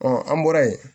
an bɔra yen